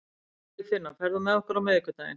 Friðfinna, ferð þú með okkur á miðvikudaginn?